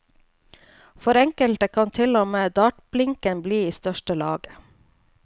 For enkelte kan til og med dartblinken bli i største laget.